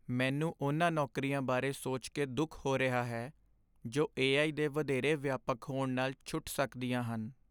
ਮੈਨੂੰ ਉਨ੍ਹਾਂ ਨੌਕਰੀਆਂ ਬਾਰੇ ਸੋਚ ਕੇ ਦੁੱਖ ਹੋ ਰਿਹਾ ਹੈ ਜੋ ਏ.ਆਈ. ਦੇ ਵਧੇਰੇ ਵਿਆਪਕ ਹੋਣ ਨਾਲ ਛੁੱਟ ਸਕਦੀਆਂ ਹਨ।